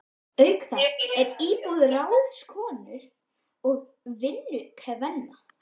Auk þessa er íbúð ráðskonu og vinnukvenna.